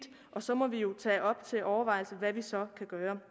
og så må vi jo tage det op til overvejelse og hvad vi så kan gøre